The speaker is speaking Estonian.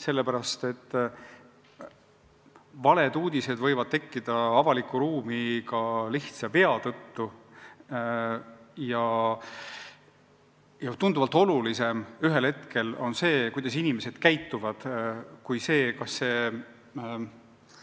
Sellepärast et valed uudised võivad avalikus ruumis tekkida ka lihtsa vea tõttu ja ühel hetkel on tunduvalt olulisem see, kuidas inimesed käituvad, kui see,